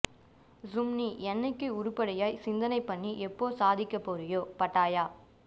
ஹூம் நீ என்னிக்கு உருப்படியாய் சிந்தனை பண்ணி எப்போ சாதிக்க போறியோ பட்டாயா